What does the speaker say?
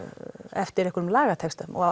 eftir einhverjum lagatextum og